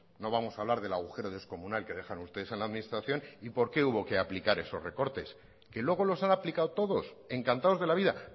no vamos a hablar del agujero descomunal que dejaron ustedes en la administración y por qué hubo que aplicar esos recortes que luego los han aplicado todos encantados de la vida